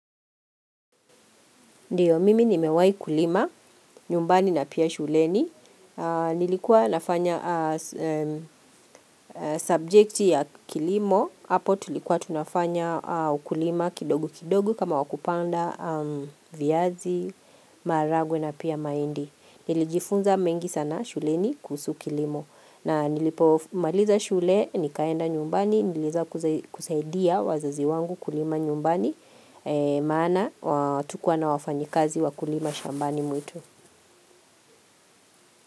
Ndiyo, mimi nimewahi kulima, nyumbani na pia shuleni. Nilikuwa nafanya subject ya kilimo. hApo tulikuwa tunafanya ukulima kidogo kidogo kama wakupanda viazi, maharagwe na pia mahindi. Nilijifunza mengi sana shuleni kuhusu kilimo. Na nilipo maliza shule, nikaenda nyumbani, niliweza kusaidia wazazi wangu kulima nyumbani. Maana hatukua na wafanyikazi wakulima shambani mwetu.